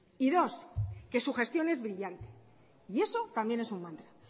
y dos que su gestión es brillante y eso también es un mantra